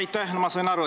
Aitäh!